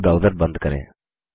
यह ब्राऊज़र बंद करें